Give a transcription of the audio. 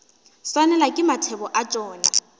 swanelwa ke mathebo a tšona